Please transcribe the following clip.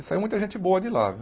E saía muita gente boa de lá, viu?